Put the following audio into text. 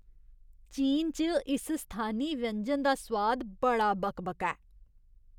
चीन च इस स्थानी व्यंजन दा सोआद बड़ा बकबका ऐ।